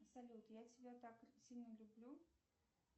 салют я тебя так сильно люблю